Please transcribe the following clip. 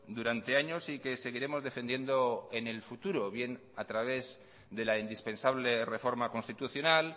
durante años y que seguiremos defendiendo en el futuro bien a través de la indispensable reforma constitucional